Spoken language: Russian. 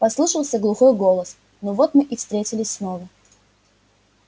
послышался глухой голос ну вот мы и встретились снова